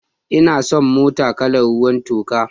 Ina son motar kalar ruwan toka.